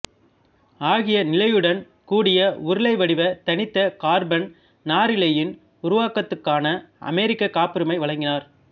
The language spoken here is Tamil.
ஆகிய நிலையுடன் கூடிய உருளைவடிவ தனித்த கார்பன் நாரிழையின் உருவாக்கத்துக்கான அமெரிக்கக் காப்புரிமை வழங்கினார்